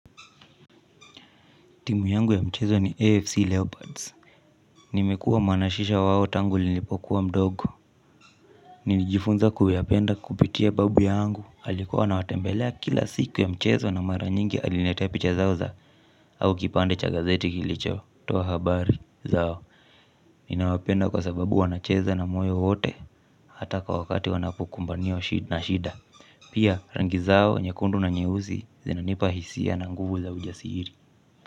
Timu yangu ya mchezo ni AFC Leopards. Nimekuwa mwanashisha wao tangu nilipokuwa mdogo. Nilijifunza kuyapenda kupitia babu yangu. Alikuwa anawatembelea kila siku ya mchezo na mara nyingi aliniletea picha zao za au kipande cha gazeti kilicho. Toa habari zao. Ninawapenda kwa sababu wanacheza na moyo wote hata kwa wakati wanapokumbaniwa na shida. Pia rangi zao, nyekundu na nyeusi zinanipa hisia na nguvu za ujasiri.